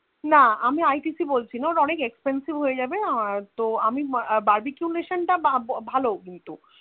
না আমি ITC বলছিনা ওটা অনেক Expensive হয়েযাবে আর তো আমি Barbecue nation টা ভালো কিন্তু